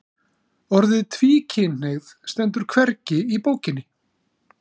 Orðið tvíkynhneigð stendur hvergi í bókinni